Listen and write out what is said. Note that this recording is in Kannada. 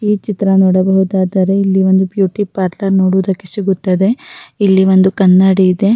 ಈ ಚಿತ್ರ ನೋಡಬಹುದಾದರೆ ಇಲ್ಲಿ ಒಂದು ಬ್ಯೂಟಿ ಪಾರ್ಲರ್ ನೋಡುವುದಕ್ಕೆ ಸಿಗುತ್ತದೆ ಇಲ್ಲಿ ಒಂದು ಕನ್ನಡಿ ಇದೆ.